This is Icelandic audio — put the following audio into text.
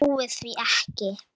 Ég trúi því ekki,